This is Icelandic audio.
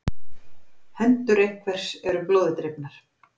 Hendur einhvers eru blóði drifnar